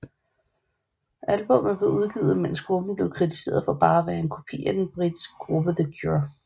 Albummet blev udgivet mens gruppen blev kritiseret for bare at være en kopi af den britiske gruppe The Cure